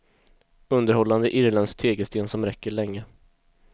Underhållande irländsk tegelsten som räcker länge.